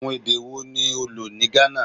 Awọn ede wo ni o lo ni Ghana?